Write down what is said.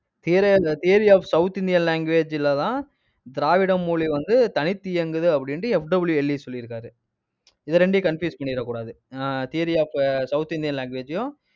theory of theory of south Indian language ல தான் திராவிட மொழி வந்து தனித்து இயங்குது அப்படின்னுட்டு FW எல்லிஸ் சொல்லியிருக்காரு இதை இரண்டையும் confuse பண்ணிறக்கூடாது அஹ் theory of south Indian language ஐயும்